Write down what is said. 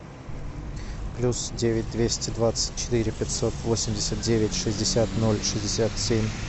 плюс девять двести двадцать четыре пятьсот восемьдесят девять шестьдесят ноль шестьдесят семь